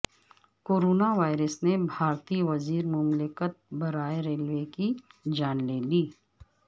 corona virus نے بھارتی وزیر مملکت برائے ریلوے کی جان لے لی